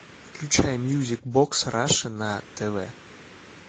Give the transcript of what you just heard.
включай мьюзик бокс раша на тв